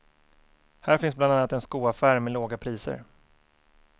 Här finns bland annat en skoaffär med låga priser.